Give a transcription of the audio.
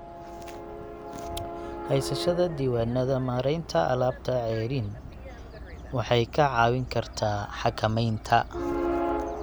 Haysashada diiwaannada maaraynta alaabta ceeriin waxay kaa caawin kartaa xakamaynta.